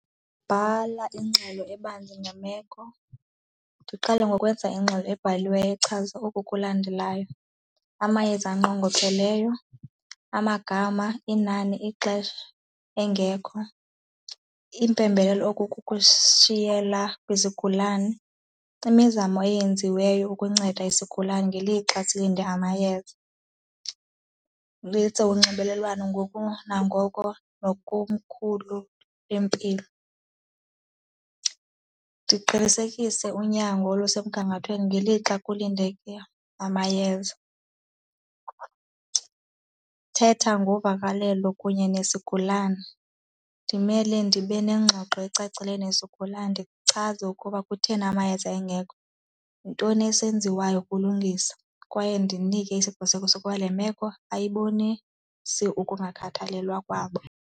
Bhala ingxelo ebangenyameko, ndiqale ngokwenza ingxelo ebhaliweyo echaza oku kulandelayo. Amayeza anqongopheleyo, amagama, inani, ixesha engekho, iimpembelelo okukukushiyela kwizigulane, imizamo eyenziweyo ukunceda isigulane ngelixa silinde amayeza. unxibelelwano ngoko nangoko nakokhulu lwempilo, ndiqinisekise unyango olusemgangathweni ngelixa kulindeleke amayeza. Thetha ngovakalelo kunye nesigulane, ndimele ndibe nengxoxo ecacileyo nesigulane ndichaze ukuba kutheni amayeza engekho, yintoni esenziweyo ukulungisa kwaye ndinike isiqiniseko sokuba le meko ayikubonisi ukungakhathalelwa kwabo.